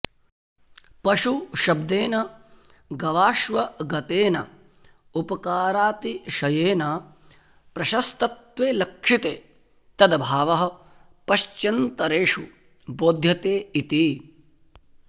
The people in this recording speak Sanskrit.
पशुशब्देन गवाश्वगतेन उपकारातिशयेन प्रशस्तत्वे लक्षिते तदभावः पश्चन्तरेषु बोध्यते इति